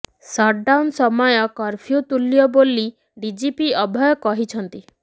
shut down ସମୟ curfew ତୂଲ୍ୟ ବୋଲି ଡିଜିପି ଅଭୟ କହିଛନ୍ତି